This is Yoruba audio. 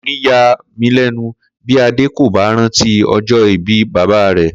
Kò ní yà mí lé̩nu bí Adé kò bá rántí o̩jó̩ ìbí bàbá rè